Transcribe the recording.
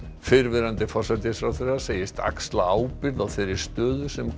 fyrrverandi forsætisráðherra segist axla ábyrgð á þeirri stöðu sem